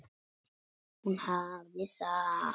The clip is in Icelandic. Hún hafði það.